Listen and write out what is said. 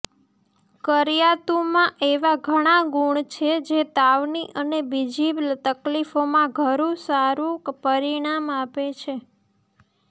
કરિયાતુમાં એવા ઘણા ગુણ છે જે તાવની અને બીજી તકલીફોમાં ખરું સારું પરિણામ આપે છે